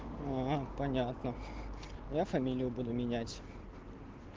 понятно я фамилию буду менять